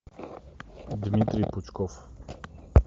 дмитрий пучков